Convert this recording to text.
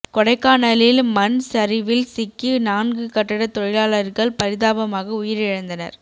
கொடைக்கானலில் மண் சரிவில் சிக்கி நான்கு கட்டடத் தொழிலாளர்கள் பரிதாபமாக உயிரிழந்தனர்